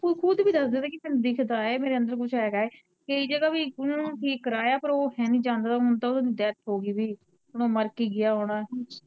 ਓਹ ਖੁਦ ਵੀ ਦੱਸ ਦਿੰਦਾ ਕੀ ਤੈਨੂੰ ਦਿੱਖਦਾ ਏ, ਮੇਰੇ ਅੰਦਰ ਕੁੱਝ ਹੈਗਾ ਏ, ਕਈ ਜਗਾਂ ਵੀ ਓਨਾਂ ਨੂੰ ਠੀਕ ਕਰਾਇਆ, ਪਰ ਉਹ ਹੈਨੀ ਜਾਣਦਾ ਜੁਣਦਾ ਓਦੀ ਹੁਣ ਤਾਂ ਓਨਾਂ ਦੀ ਡੈੱਥ ਹੋਗੀ ਸੀ, ਹੁਣ ਮਰ ਕੀ ਗਿਆ ਹੋਣਾ